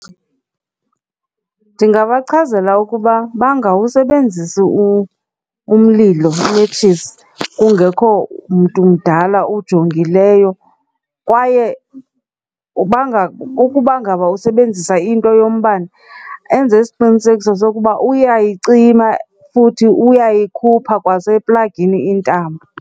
Ndingabachazela ukuba bangawusebenzisi umlilo umetshisi kungekho mntu mdala ujongileyo, kwaye ukuba ngaba usebenzisa into yombane enze isiqinisekiso sokuba uyayicima futhi uyayikhupha kwaseplagini intambo.